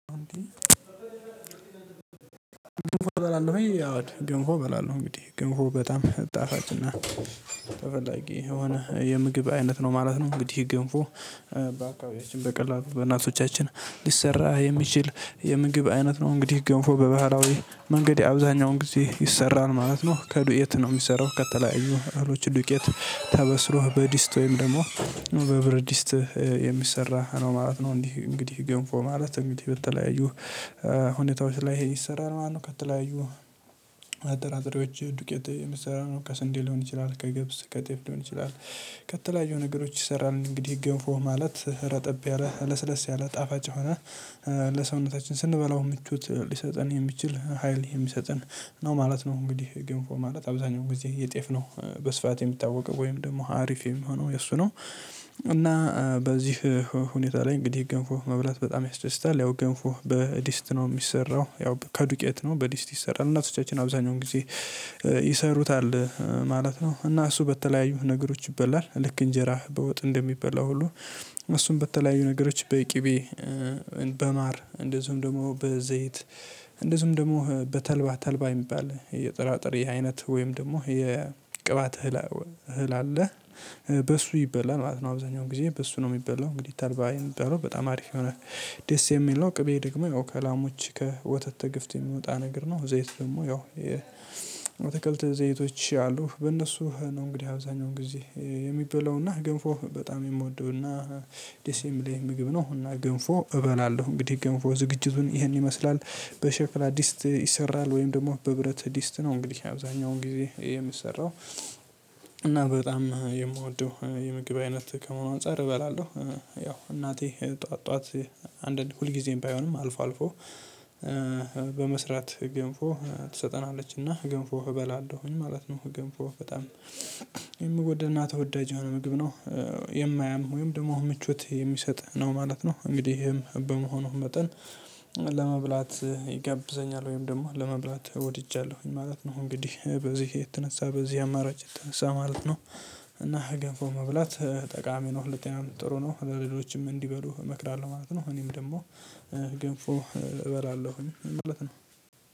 ገንፎ በላለሁ ያው ገንፎ በላለሁ እንግዲህ ገንፎ በጣም ጣፋጭና ተፈላጊ የሆነ የምግብ አይነት ነው ማለት ነው። እንግዲህ ገንፎ በአካባቢያችን በቀላሉ በእናቶቻችን ሊሰራ የሚችል የምግብ አይነት ነው። እንግዲህ ገንፎ በባህላዊ መንገድ አብዛኛውን ጊዜ ይሰራል ማለት ነው። ከዱቄት ነው የሚሰራው ከተለያዩ እህሎች ዱቄት ተበስሮህ በዲስት ወይም ደግሞ በብረዲስት የሚሰራ ነው ማለት ነው። እንግዲህ እንግዲህ ገንፎ ማለት እንግዲህ በተለያዩ ሁኔታዎች ላይ ይሄ ይሰራል ማለት ማነው? ከተለያዩ ጥራጥሬዎች ዱቄት የሚሰራ ነው ከስንዴ ሊሆን ይችላል ከግብስ ከጤፍ ሊሆን ይችላል ከተለያዩ ነገሮች ይሰራል። እንግዲህ ገንፎ ማለት ረጠብ ያለ ለስለስ ያለ ጣፋጭ ሆነ ለሰውነታችን ስንበላው ምቹት ሊሰጠን የሚችል ሀይል የሚሰጠን ነው ማለት ነው። እንግዲህ ገንፎ ማለት አብዛኛው ጊዜ የጤፍ ነው በስፋት የምታወቀው ወይም ደግሞ አሪፍ የሚሆነው የእሱ ነው። እና በዚህ ሁኔታ ላይ እንግዲህ ገንፎ መብላት በጣም ያስደስታል። ያው ገንፎ በዲስት ነው የሚሰራው ያው ከዱቄት ነው በዲስት ይሰራል እናቶቻችን አብዛኛውን ጊዜ ይሰሩታል ማለት ነው። እና እሱ በተለያዩ ነገሮች ይበላል ልክ እንጀራ በወጥ እንደሚበላ ሁሉ። እሱም በተለያዩ ነገሮች በቂቤ በቅቤ በማር እንደዚሁም ደግሞ በዘይት እንደዚሁም ደግሞ በተልባ ተልባ የሚባል የጥራጥሬ አይነት ወይም ደግሞ የቅባት እህል አለ በሱ ይበላል ማለት ነው። አብዛኛው ጊዜ በሱ ነው የሚበላው እንግዲህ ተልባ የሚበላው በጣም አሪፍ የሆነ ደስ የሚል ነው። ቅቤ ደግሞ ከላሞች ከወተት ተግፍት የሚወጣ ነገር ነው። ዘይት ደግሞ ያው የተከልተ ዘይቶች አሉ በእነሱ ነው እንግዲህ አብዛኛው ጊዜ የሚበላውና ገንፎ በጣም የምወደውና ደስ የሚለኝ ምግብ ነው። እና ገንፎ እበላለሁ እንግዲህ ገንፎ ዝግጅቱን ይሄን ይመስላል። በሸክላ ዲስት ይሰራል ወይም ደግሞ በብረት ዲስት ነው። እንግዲህ አብዛኛውን ጊዜ የምሰራው እና በጣም የምወደው የምግብ አይነት ከመሆኑ አንፃር እበላለሁ። ያው እናቴ ጠዋት ጠዋት አንድ ሁል ጊዜም ባይሆንም አልፎ አልፎ በመስራት ገንፎ ትሰጠናለችና ገንፎ እበላለሁኝ ማለት ነው። ገንፎ በጣም የሚወደድ እና ተወዳጅ የሆነ ምግብ ነው። የማያም ወይም ደግሞ ምቾት የሚሰጥ ነው ማለት ነው። እንግዲህም በመሆኑ መጠን ለመብላት ይጋብዘኛል ወይም ደግሞ ለመብላት ወድጃለሁኝ ማለት ነው። እንግዲህ በዚህ የተነሳ በዚህ አማራጭ የተነሳ ማለት ነው። እና ገንፎ መብላት ጠቃሚ ነው ለጤናም ጥሩ ነው ለሌሎችም እንዲበሉ እመክራለሁ ማለት ነው። እኔም ደግሞ ገንፎ እበላለሁ ማለት ነው